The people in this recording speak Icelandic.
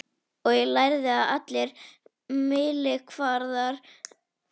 Og ég lærði að allir mælikvarðar breytast í stríði.